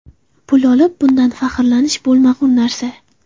Pul olib, bundan faxrlanish bo‘lmag‘ur narsa.